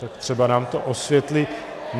Tak třeba nám to osvětlí.